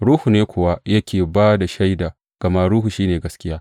Ruhu ne kuwa yake ba da shaida, gama Ruhu shi ne gaskiya.